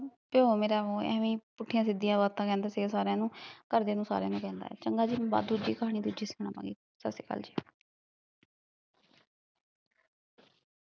ਪਿਓ ਮੇਰੇ ਉ ਐਵੈ ਈ, ਪੁੱਠੀਆਂ ਸਿੱਧੀਆਂ ਬਾਤਾਂ ਕਹਿੰਦਾ ਸੀਗਾ ਸਾਰਿਆ ਨੂੰ, ਘਰਦਿਆ ਨੂੰ ਸਾਰਿਆ ਨੂੰ ਕਹਿੰਦਾ ਸੀਗਾ, ਚੰਗਾ ਜੀ ਮੈਂ ਬਾ ਦੂਜੀ ਕਹਾਣੀ ਦੂਜੀ ਸੁਣਾਵਾਂਗੀ ਸਸਰੀਕਾਲ ਜੀ